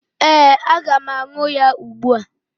Ee, aga m aṅụ ya ugbua.